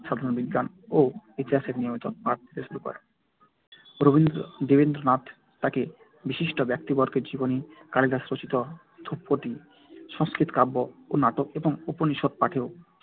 সাধারণ বিজ্ঞান ও ইতিহাসের নিয়মিত পাঠ নিতে শুরু করেন। দেবেন্দ্রনাথ তাকে বিশিষ্ট ব্যক্তিবর্গের জীবনী, কালিদাস রচিত ধ্রুপদি সংস্কৃত কাব্য ও নাটক এবং উপনিষদ্‌ পাঠেও